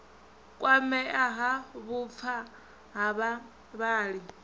kwamea ha vhupfa ha vhavhali